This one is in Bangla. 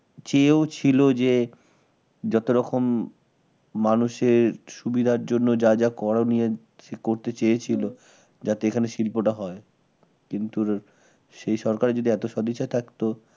কেউ ছিল যে যত রকম মানুষের সুবিধার জন্য যা যা করণীয় করতে চেয়েছিল হম যাতে এখানে শিল্পটা হয়। কিন্তু সেই সরকারের যদি এত সদিচ্ছা থাকত